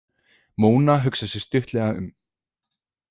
Móna hugsar sig stuttlega um.